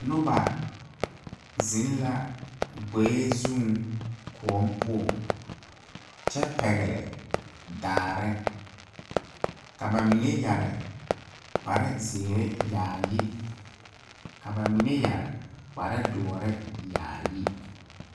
Noba zeŋ la gboe zuŋ kõɔ poɔŋ kyɛ pɛgle daare ka ba mine yɛre kpare zeere yaayi ka ba mine yɛre kpare doɔɔre yaayi.